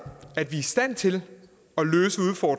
at vi er i stand til